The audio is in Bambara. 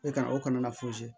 E kana o kana